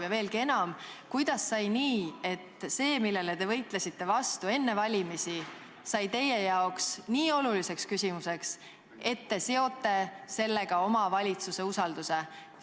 Ja veelgi enam: kuidas on juhtunud nii, et see, millele te võitlesite enne valimisi vastu, on saanud teie jaoks nii oluliseks küsimuseks, et te seote sellega oma valitsuse usalduse?